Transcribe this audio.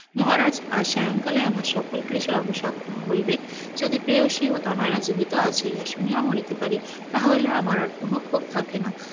মহারাজ আজ স্বায়ং কালে আমার সকল ক্লেশের অবশেষ হইবে যদি প্রেয়সী ও তনয়রা জীবিত আছে, ইহা শুনিয়া মরিতে পারে তাহা হইলে আমার আর কোন ক্ষোভ থাকে না,